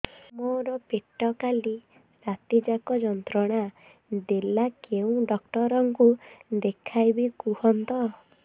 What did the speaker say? ମୋର ପେଟ କାଲି ରାତି ଯାକ ଯନ୍ତ୍ରଣା ଦେଲା କେଉଁ ଡକ୍ଟର ଙ୍କୁ ଦେଖାଇବି କୁହନ୍ତ